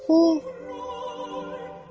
O, krallar heç nəyə sahibi deyil.